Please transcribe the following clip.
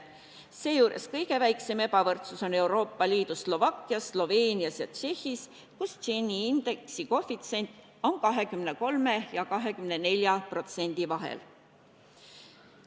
Seejuures kõige väiksem ebavõrdsus Euroopa Liidus on Slovakkias, Sloveenias ja Tšehhis, kus Gini indeksi koefitsient on 23% ja 24% vahel.